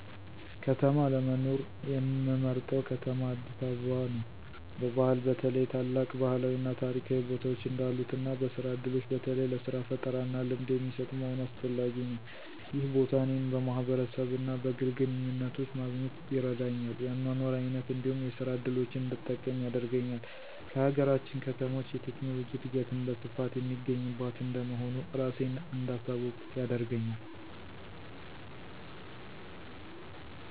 ከተማ ለመኖር ምመርጠው ከተማ አዲስ አበባ ነው። በባህል በተለይ ታላቅ ባህላዊ እና ታሪካዊ ቦታዎች እንዳሉት እና በስራ ዕድሎች በተለይ ለሥራ ፈጠራና ልምድ የሚሰጥ መሆኑ አስፈላጊ ነው። ይህ ቦታ እኔን በማህበረሰብ እና በግል ግንኙነቶች ማግኘት ይረዳኛል፤ የአኗኗር አይነት እንዲሁም የስራ እድሎችን እንድጠቀም ያደርገኛል። ከሀገራችን ከተሞች የቴክኖሎጂ እድገትም በስፋት የሚገኝባት እንደመሆኑ እራሴን እንዳሳውቅ ያደርገኛል።